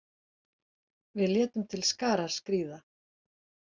Við létum til skarar skríða.